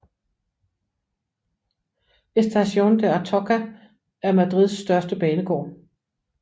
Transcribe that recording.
Estación de Atocha er Madrids største banegård